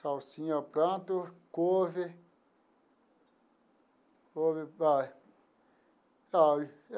Salsinha eu planto, couve, couve ah sabe.